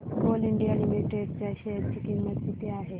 आज coal India limited च्या share ची किंमत किती आहे